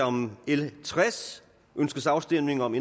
om l tres ønskes afstemning om